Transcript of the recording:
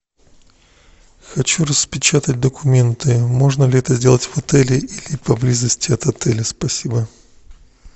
хочу распечатать документы можно ли это сделать в отеле или поблизости от отеля спасибо